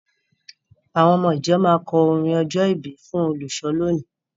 Àwọn ọmọ-ìjọ máa kọ orin ọjọ́-ìbí fún olùṣọ́ lónìí.